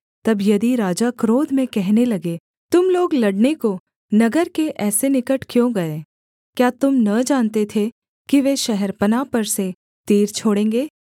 तब यदि राजा क्रोध में कहने लगे तुम लोग लड़ने को नगर के ऐसे निकट क्यों गए क्या तुम न जानते थे कि वे शहरपनाह पर से तीर छोड़ेंगे